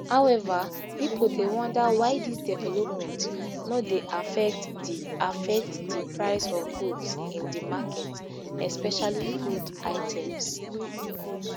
however people dey wonder why dis developments no dey affect di affect di price of goods in di market especially food items